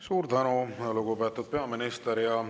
Suur tänu, lugupeetud peaminister!